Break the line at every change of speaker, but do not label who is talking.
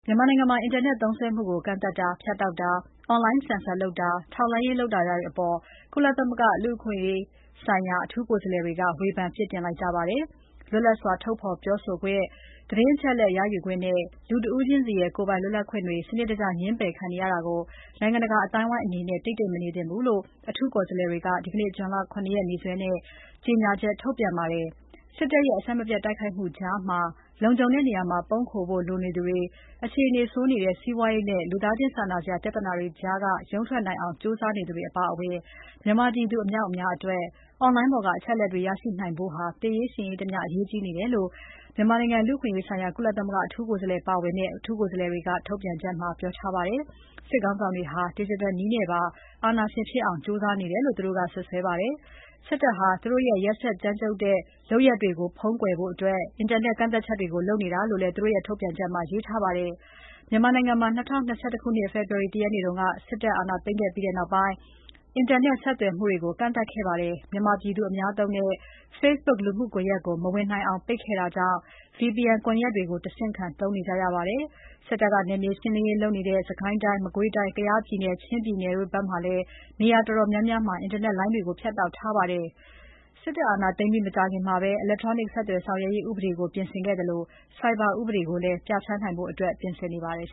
မြန်မာနိုင်ငံမှာ အင်တာနက်သုံးစွဲမှုကို ကန့်သတ်တာ၊ ဖြတ်တောက်တာ၊ အွန်လိုင်းဆင်ဆာလုပ်တာ၊ ထောက်လှမ်းတာတွေလုပ်နေတဲ့အပေါ် ကုလသမဂ္ဂလူ့အခွင့်အရေးဆိုင်ရာ အထူးကိုယ်စားလှယ်တွေက ဝေဖန်အပြစ်တင်လိုက်ကြပါတယ်။ လွတ်လပ်စွာထုတ်ဖော်ပြောဆိုခွင့်၊ သတင်းအချက်အလက်ရယူနိုင်ခွင့်နဲ့ လူတဦးချင်းစီရဲ့ကိုယ်ပိုင်လွတ်လပ်ခွင့်တွေ စနစ်တကျ ငြင်းပယ်ခံနေရတာကို နိုင်ငံတကာအသိုင်းအဝိုင်းအနေနဲ့ တိတ်တိတ်မနေသင့်ဘူးလို့ အထူးကိုယ်စားလှယ်တွေက ဒီနေ့ ဇွန်လ ၇ ရက်နေ့ နေ့စွဲနဲ့ ကြေညာချက်ထုတ်ပြန်ပါတယ်။ စစ်တပ်ရဲ့ အဆက်မပြတ်တိုက်ခိုက်မှုကြားမှာ လုံခြုံတဲ့နေရာ ပုန်းခိုဖို့လိုသူတွေ၊ အခြေအနေဆိုးနေတဲ့ စီးပွားရေးနဲ့ လူသားချင်းစာနာစရာပြဿနာတွေကြားက ရုန်းထွက်နိုင်အောင် ကြိုးစားနေသူတွေအပါအဝင် မြန်မာပြည်သူအမြောက်အများအတွက် Online ပေါ်ကအချက်အလက်တွေရနိုင်ဖို့ဟာ သေရေး ရှင်ရေးတမျှ အရေးကြီးနေတယ်လို့ မြန်မာနိုင်ငံလူ့အခွင့်အရေးဆိုင်ရာ ကုလသမဂ္ဂအထူးကိုယ်စားလှယ်ပါဝင်တဲ့ အထူးကိုယ်စားလှယ်တွေက ထုတ်ပြန်ချက်မှာ ပြောထားပါတယ်။ စစ်ခေါင်းဆောင်တွေဟာ ဒစ်ဂျစ်တယ်နည်းနဲ့ပါ အာဏာရှင်ဖြစ်အောင်ကြိုးစားနေတယ်လို့ သူတို့က စွပ်စွဲပါတယ်။ စစ်တပ်ဟာ သူတို့ရဲ့ ကြမ်းကြုတ်ရက်စက်တဲ့ လုပ်ရပ်တွေကိုဖုံးကွယ်ဖို့ အင်တာနက် ကန့်သတ်ချက်တွေလုပ်နေတာလို့လည်း သူတို့ရဲ့ထုတ်ပြန်ချက်မှာ ရေးထားပါတယ်။ မြန်မာနိုင်ငံမှာ ၂၀၂၁ ခုနှစ် ဖေဖော်ဝါရီလ ၁ ရက်နေ့က စစ်တပ်အာဏာသိမ်းပြီးနောက်ပိုင်း အင်တာနက် ဆက်သွယ် မှုတွေကို ကန့်သတ်ခဲ့ပါတယ်။ မြန်မာပြည်သူအသုံးများတဲ့ Facebook လူမှုကွန်ရက်ကို မဝင်နိုင်အောင် ပိတ်ခဲ့တာကြောင့် VPN ကွန်ယက်တွေ တဆင်ခံသုံးနေကြရပါတယ်။ စစ်တပ်က နယ်မြေရှင်းလင်းရေးလုပ်နေတဲ့ စစ်ကိုင်းတိုင်း၊ မကွေးတိုင်း၊ ကယားပြည်နယ်၊ ချင်းပြည်နယ်ဘက်တွေမှာလည်း နေရာတော်တော်များများမှာ အင်တာနက်လိုင်းတွေ ဖြတ်တောက်ထားပါတယ်။ စစ်တပ်အာဏာသိမ်းပြီးမကြာခင်မှာပဲ အီလက်ထရောနစ် ဆက်သွယ်ဆောင်ရွက်ရေးဥပဒေကို ပြင်ဆင်ခဲ့သလို ဆိုင်ဘာဥပဒေကိုလည်း ပြဌာန်းနိုင်ဖို့ ပြင်ဆင်နေပါတယ်